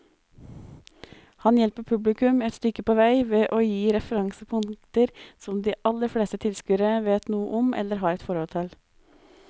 Han hjelper publikum et stykke på vei ved å gi referansepunkter som de aller fleste tilskuere vet noe om eller har et forhold til.